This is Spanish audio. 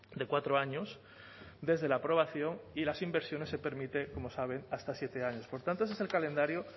de cuatro años desde la aprobación y las inversiones se permite como sabe hasta siete años por tanto ese es el calendario